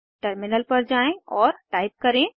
terminal पर जाएँ और टाइप करें